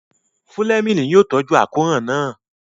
Fúlẹ́mìnì yóò tọ́jú àkóràn náà